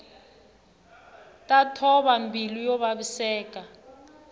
ta thova mbilu yo vaviseka